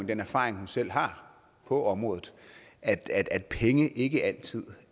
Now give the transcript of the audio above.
den erfaring hun selv har på området at at penge ikke altid